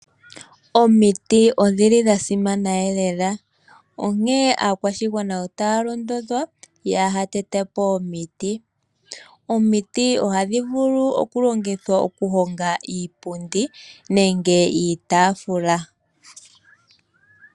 Omiti odhili dha simana lela. Onkene aakwashigwana otaya londodhwa opo kaya tete po omiti. Omiti ohadhi vulu okulongithwa oku honga iipundi nenge iitaafula.